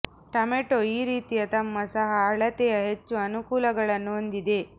tomato ಈ ರೀತಿಯ ತಮ್ಮ ಸಹ ಅಳತೆಯ ಹೆಚ್ಚು ಅನುಕೂಲಗಳನ್ನು ಹೊಂದಿದೆ